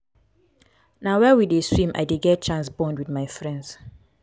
na where we dey swim i dey get chance bond wit my friends.